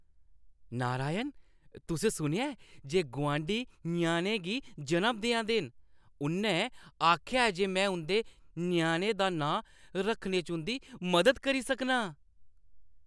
नारायण, तुसें सुनेआ ऐ जे गुआंढी ञ्याणे गी जनम देआ दे न? उʼन्नै आखेआ जे में उंʼदे ञ्याणे दा नांऽ रक्खने च उंʼदी मदद करी सकनां।